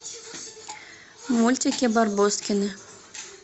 мультики барбоскины